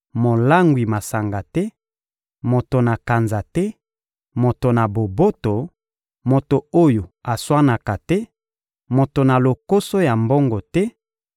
molangwi masanga te, moto na kanza te, moto na boboto, moto oyo aswanaka te, moto na lokoso ya mbongo te,